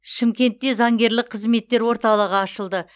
шымкентте заңгерлік қызметтер орталығы ашылды